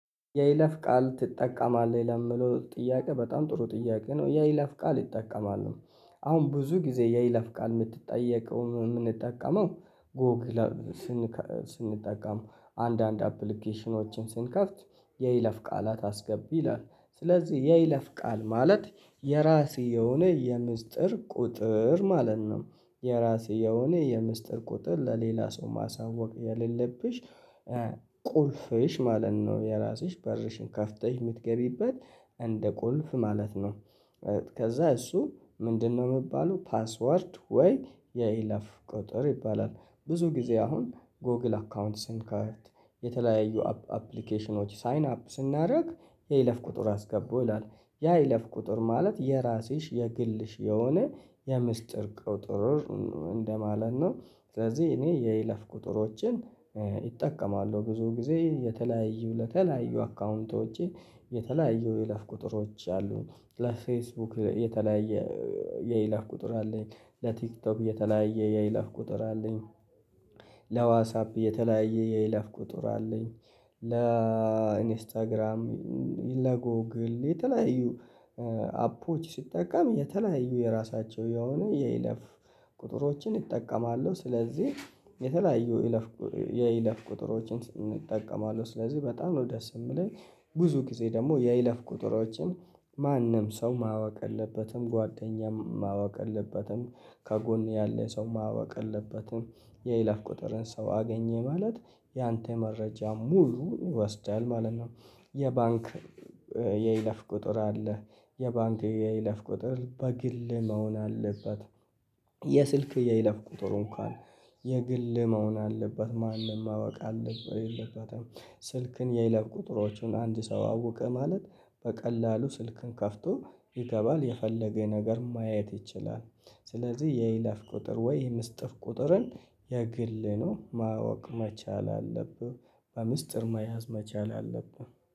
የይለፍ ቃል ትጠቀማለህ ለሚለው ጥያቄ በጣም ጥሩ ጥያቄ ነው። የይለፍ ቃል እጠቀማለሁ አሁን ብዙ ጊዜ የይለፍ ቃል የምንጠየቀው የምንጠቀመው ጎግል ስንጠቀም አንድ አንዳንድ አፕሊኬሽኖችን ስንከፍት የይለፍ ቃላት አስገቡ ይላል ስለዚህ የይለፍ ቃል ማለት የራስ የሆነ የሚስጥር ቁጥር ማለት ነው። የራሴ የሆነ የሚስጥር ቁጥር ለሌላ ሰው ማሳወቅ የሌለብሽ ቁልፍሽ ማለት ነው። የራስሽ በርሽን ከፍተሽ የምትገቢበት እንደ ቁልፍ ማለት ነው። ከዛ እሱ ምንድነው የሚባለው ፓስወርድ ወይ የይለፍ ቁጥር ይባላል። ብዙ ጊዜ አሁን ጎግል አካውንት ስንከፍት የተለያዩ አፕሊኬሽኖች ሳይን አፕ ስናደርግ የይለፍ ቁጥር አስገቡ ይላል ያ የይለፍ ቁጥር ማለት የራስሽ የግልሽ የሆነ የሚስጥር ቁጥር እንደማለት ነው። ስለዚህ እኔ የይለፍ ቁጥሮችን እጠቀማለሁ ብዙ ጊዜ የተለያዩ ለተለያዩ አካውንቶቼ የተለያዩ የለፍ ቁጥሮች አሉኝ ለፌስቡክ የተለያየ የይለፍ ቁጥር አለኝ። ለቲክቶክ የተለያየ የይለፍ ቁጥር አለኝ። ለዋትሳፕ የተለያየ የይለፍ ቁጥር አለኝ። ለኢንስታግራም ለጎግል የተለያዩ አፖች ስጠቀም የተለያዩ የራሳቸው የሆነ የይለፍ ቁጥሮችን እጠቀማለሁ ስለዚህ የተለያዩ የይለፍ ቁጥሮችን እጠቀማለሁ። ስለዚህ በጣም ነው ደስ የሚለኝ ብዙ ጊዜ ደግሞ የይለፍ ቁጥሮችን ማንም ሰው ማወቅ የለበትም ጓደኛም ማወቅ የለበትም። ከጎን ያለ ሰው ማወቅ የለበትም። የይለፍ ቁጥርን ሰው አገኘ ማለት ያንተ መረጃ ሙሉ ይወስዳል ማለት ነው። የባንክ የይለፍ ቁጥር አለ የባንክ የይለፍ ቁጥር በግል መሆን አለበት። የስልክ የይለፍ ቁጥር እንኳን የግል መሆን አለበት ማንም ማወቅ የለበትም። ስልክን የይለፍ ቁጥሮቹን አንድ ሰው አወቀ ማለት በቀላሉ ስልክን ከፍቶ ይገባል የፈለገ ነገር ማየት ይችላል። ስለዚህ የይለፍ ቁጥር ወይ የሚስጥር ቁጥርን የግል ነው ማወቅ መቻል አለብህ። በሚስጥር መያዝ መቻል አለብህ